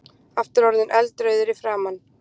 Aftur orðinn eldrauður í framan.